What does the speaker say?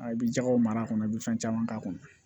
A i bi jɛgɛw mara a kɔnɔ i be fɛn caman k'a kɔnɔ